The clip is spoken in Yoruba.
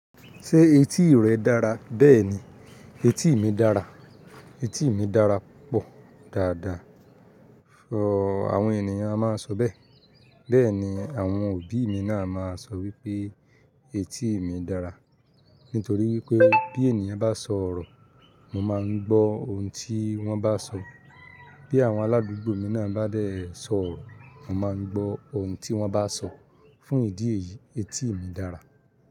Ṣé etí rẹ dára? Bẹ́ẹ̀ni, etí mi dára, etí mi dára púpọ̀ dáadáa. Fo, àwọn ènìyàn a máa sọ bẹ́ẹ̀. Bẹ́ẹ̀ni, àwọn òbí mi náà máa sọ wípé etí mi dára. Nítorí wípé bí ènìyàn bá sọ ọ̀rọ̀, mo máa ń gbó oun tí wón bá sọ. Bí àwọn aládùúgbò mi náà bá dẹ̀ sọ ọ̀rọ̀, mo máa ń gbó oun tí wón bá sọ. Fún ìdí èyí, etí mi dára.